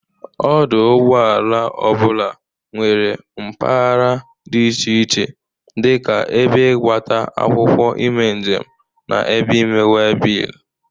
Ọdụ ụgbọala ọ bụla nwere mpagara dị iche iche dị ka ebe ịgbata akwụkwọ ime njem na ebe ime webil.